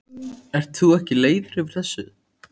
Ert þú ekki leiður yfir þessu?